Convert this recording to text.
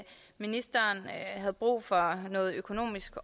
ministeren havde brug for noget økonomisk